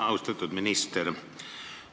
Austatud minister!